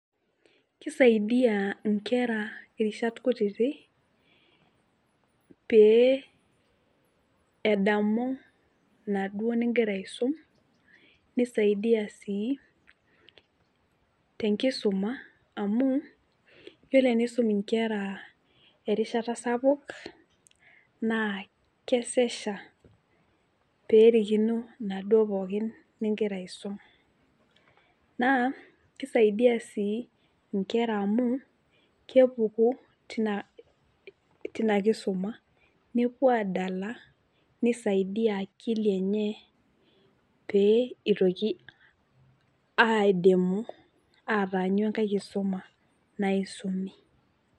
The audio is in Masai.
Kisaidia inkera irishat kutiti pee edamu inaduo ningira aisum , nisaidia sii tenkisuma amu yiolo tenisum inkera erishata sapuk naa kesesha pee erikino inaduo pookin ningira aisum , naa kisaidia sii inkera amu kepuku tina, tina kisuma , nepuo adala , nisaidia akili enye pee idimu aitoki ataanyu enkae kisuma naisumi.